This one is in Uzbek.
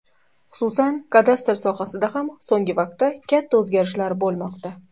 Xususan, kadastr sohasida ham so‘ngi vaqtda katta o‘zgarishlar bo‘lmoqda.